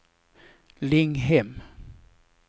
Linghem